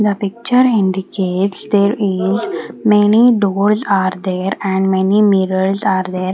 The picture indicates there is many doors are there and many mirrors are there.